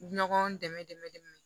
Ɲɔgɔn dɛmɛ dɛmɛ